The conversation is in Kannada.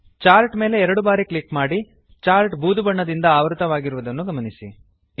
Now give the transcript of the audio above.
ಚಾರ್ಟ್ ಮೇಲೆ ಎರಡು ಬಾರಿ ಕ್ಲಿಕ್ ಮಾಡಿ ಚಾರ್ಟ್ ಬೂದು ಬಣ್ಣದಿಂದ ಆವೃತವಾಗಿರುವದನ್ನು ಗಮನಿಸಿ